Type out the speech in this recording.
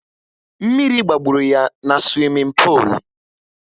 Mmiri gbagburu ya na swimin polu